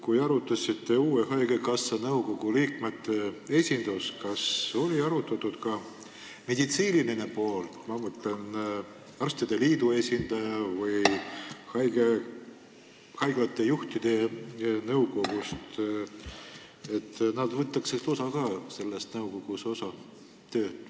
Kui te arutasite haigekassa uue nõukogu liikmeid, kas te arutasite ka, et meditsiinilise poole, ma mõtlen arstide liidu või haiglate juhtide esindajad võtaksid selle nõukogu tööst osa?